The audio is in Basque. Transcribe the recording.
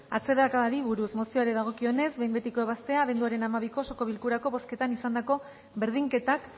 atzerakadari buruz mozioari dagokionez behin betiko ebaztea abenduaren hamabiko osoko bilkurako bozketan izandako berdinketak